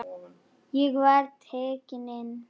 Ég var tekinn inn.